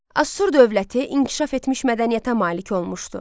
Asur dövləti inkişaf etmiş mədəniyyətə malik olmuşdu.